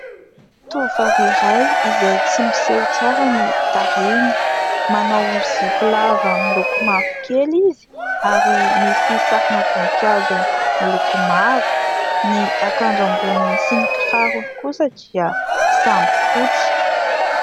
Tovovavy iray izay tsy miseho tsara ny tarehany, manao zipo lava miloko mavokely izy ary misy sarina voninkazo miloko mavo, ny ankanjo amboniny sy ny kirarony kosa dia samy fotsy.